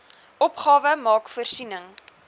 opgawe maak voorsiening